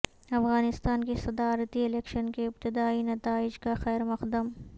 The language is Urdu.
افغانستان کی صدارتی الیکشن کے ابتدائی نتائج کا خیرمقدم